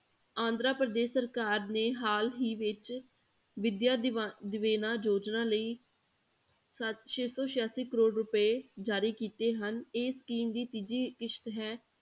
ਆਂਧਰਾ ਪ੍ਰਦੇਸ ਸਰਕਾਰ ਨੇ ਹਾਲ ਹੀ ਵਿੱਚ ਵਿਦਿਆ ਦਿਵਾ~ ਦਿਵੇਨਾ ਯੋਜਨਾ ਲਈ ਸੱਤ ਛੇ ਸੌ ਸਿਆਸੀ ਕਰੌੜ ਰੁਪਏ ਜਾਰੀ ਕੀਤੇ ਹਨ, ਇਹ scheme ਦੀ ਤੀਜੀ ਕਿਸ਼ਤ ਹੈ।